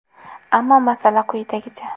Ammo masala quyidagicha.